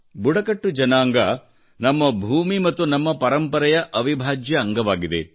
ಬುಡಕಟ್ಟು ಜನಾಂಗ ನಮ್ಮ ಭೂಮಿ ನಮ್ಮ ಪರಂಪರೆಯ ಅವಿಭಾಜ್ಯ ಅಂಗವಾಗಿವೆ